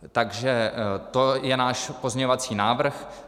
Takže to je náš pozměňovací návrh.